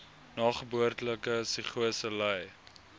nageboortelike psigose ly